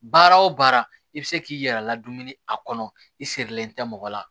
Baara o baara i bi se k'i yɛrɛ ladonni a kɔnɔ i sirilen tɛ mɔgɔ la